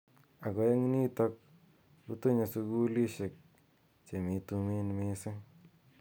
Ako eng nitok kutonye sukulishek che mi tumin mising.